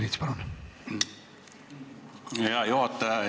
Hea juhataja!